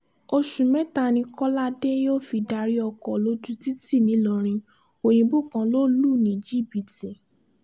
oṣù mẹ́ta ni kọ́ládé yóò fi darí ọkọ̀ lójú títì nìlọrin òyìnbó kan lọ lù ní jìbìtì